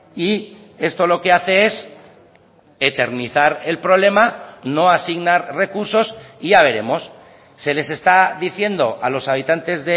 y esto lo que hace es eternizar el problema no asignar recursos y ya veremos se les está diciendo a los habitantes